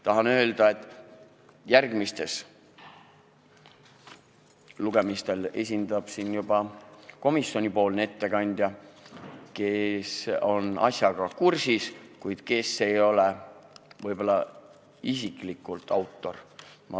Tahan öelda, et järgmistel lugemistel esineb siin juba komisjoni ettekandja, kes on asjaga kursis, kuid ise ei ole autor.